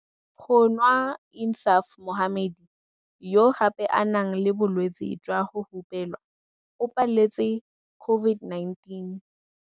Go nwa Insaaf Mohammed, yo gape a nang le bolwetse jwa go hupelwa, o paletse COVID-19.